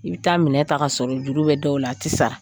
I bɛ taa minɛn ta kasɔrɔ juru bɛ dɔw la a tɛ sara